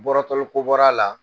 Ni bɔrɔtɔli ko bɔr'a la